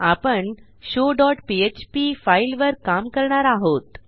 आपण show dot PHP फाईलवर काम करणार आहोत